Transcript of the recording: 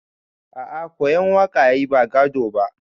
A a koyan waka yayi ba gado ba.